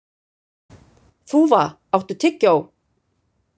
Þúfa, áttu tyggjó?